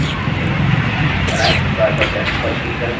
align toolbar पर left पर click करें